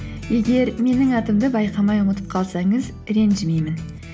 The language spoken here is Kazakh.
егер менің атымды байқамай ұмытып қалсаңыз ренжімеймін